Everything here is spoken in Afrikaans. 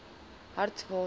hartswater